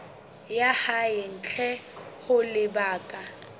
ya hae ntle ho lebaka